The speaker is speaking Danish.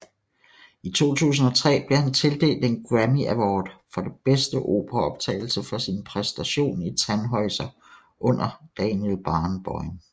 I 2003 blev han tildelt en Grammy Award for bedste operaoptagelse for sin præstation i Tannhäuser under Daniel Barenboim